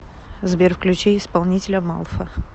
сбер включи исполнителя малфа